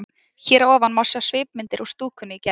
Hér að ofan má sjá svipmyndir úr stúkunni í gær.